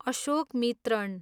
Ashokamitran